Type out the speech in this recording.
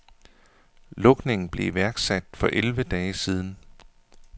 Lukningen blev iværksat for elleve dage siden.